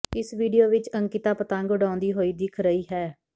ਇਸ ਵੀਡੀਓ ਵਿਚ ਅੰਕਿਤਾ ਪਤੰਗ ਉਡਾਉਂਦੀ ਹੋਈ ਦਿਖ ਰਹੀ ਹੈ